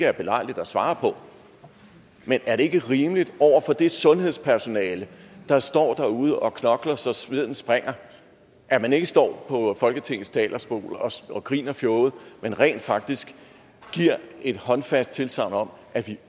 er belejligt at svare på det men er det ikke rimeligt over for det sundhedspersonale der står derude og knokler så sveden springer at man ikke står på folketingets talerstol og griner fjoget men rent faktisk giver et håndfast tilsagn om at vi